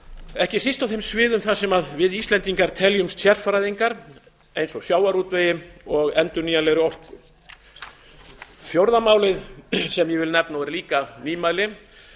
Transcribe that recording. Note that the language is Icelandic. ekki síst á þeim sviðum þar sem við íslendingar teljumst sérfræðingar eins og í sjávarútvegi og endurnýjanlegri orku fjórða málið sem ég vil nefna og er líka nýmæli